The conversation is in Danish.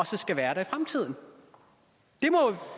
skal være der i fremtiden